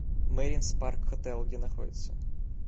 маринс парк хотел где находится